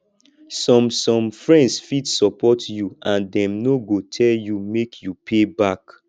some some friends fit support you and dem no go tell you make you pay back